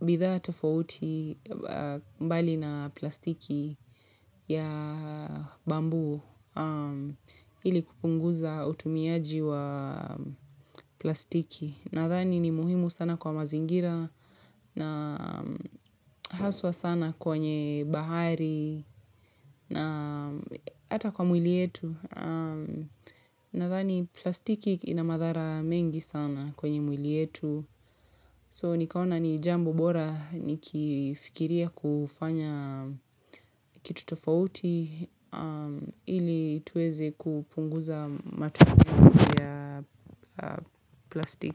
Bidhaa tofauti mbali na plastiki ya bamboo ili kupunguza utumiaji wa plastiki Nadhani ni muhimu sana kwa mazingira na haswa sana kwenye bahari na hata kwa mwili yetu Nadhani plastiki ina madhara mengi sana kwenye mwili yetu So nikaona ni jambo bora nikifikiria kufanya kitu tofauti ili tuweze kupunguza matumizi ya plastiki.